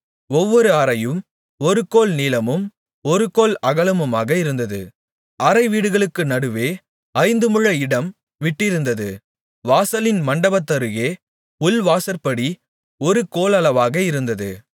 ஒவ்வொரு அறையும் ஒரு கோல் நீளமும் ஒரு கோல் அகலமுமாக இருந்தது அறைவீடுகளுக்கு நடுவே ஐந்து முழ இடம் விட்டிருந்தது வாசலின் மண்டபத்தருகே உள்வாசற்படி ஒரு கோலளவாக இருந்தது